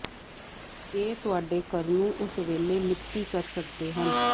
ਇਹ ਤੁਹਾਡੇ ਘਰ ਨੂੰ ਉਸੇ ਵੇਲੇ ਮਿਤੀ ਕਰ ਸਕਦੇ ਹਨ